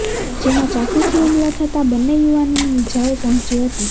જેમાં ચાકુથી હુમલો થતાં બંને યુવાનોને ઇજાઓ પહોંચી હતી